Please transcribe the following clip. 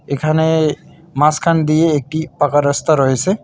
এখানে মাঝখান দিয়ে একটি পাকা রাস্তা রয়েছে।